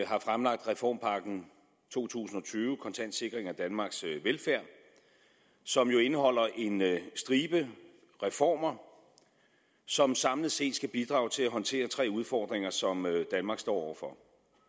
har fremlagt reformpakken to tusind og tyve kontant sikring af danmarks velfærd som jo indeholder en stribe reformer som samlet set skal bidrage til at håndtere tre udfordringer som danmark står over for